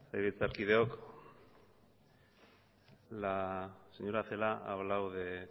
legebiltzarkideok la señora celaá ha hablado de